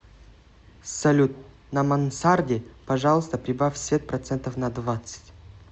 салют на мансарде пожалуйста прибавь свет процентов на двадцать